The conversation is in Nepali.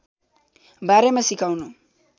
बारेमा सिकाउनु